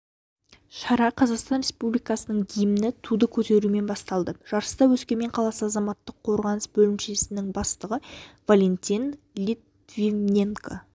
шара қазақстан республикасының гимнімен туды көтерумен басталды жарысты өскемен қаласы азаматтық қорғаныс бөлімшесінің бастығы валентин литвиненко